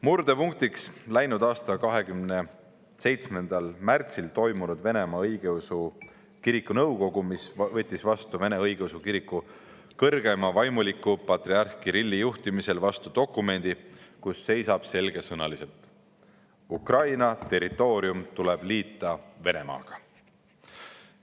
Murdepunk oli läinud aasta 27. märtsil toimunud Venemaa Õigeusu Kiriku nõukogu, mis võttis Vene Õigeusu Kiriku kõrgeima vaimuliku patriarh Kirilli juhtimisel vastu dokumendi, milles seisab selgesõnaliselt: "Ukraina territoorium tuleb liita Venemaaga.